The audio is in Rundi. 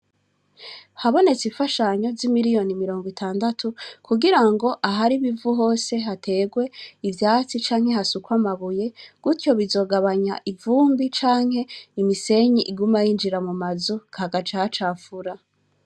Habonetse imfashanyo zimiriyoni mirongo itandatu kugirango ahari ibivu hose hategwe ivyatsi canke hasukwe amabuye gutyo bizogabanya ivumbi canke imisenyi iguma yinjira mu mazu hagaca hacafura.